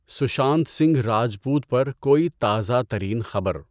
سشانت سنگھ راجپوت پر کوئی تازہ ترین خبر؟